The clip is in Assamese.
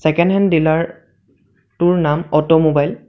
ছেকেণ্ডহেন ডিলাৰ টোৰ নাম অট' মোবাইল ।